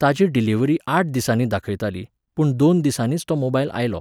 ताची डिलीव्हरी आठ दिसांनी दाखयताली, पूण दोन दिसांनीच तो मोबायल आयलो.